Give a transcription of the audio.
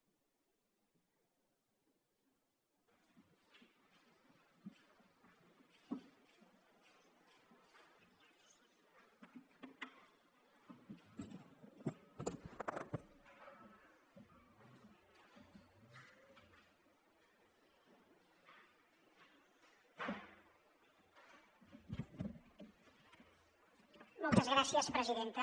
moltes gràcies presidenta